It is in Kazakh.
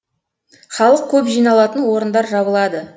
халық көп жиналатын орындар жабылады